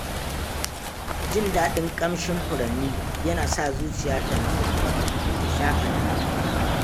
Jin daɗin ƙamshin furanni yana sa zuciya ta natsu kuma ta shaƙata.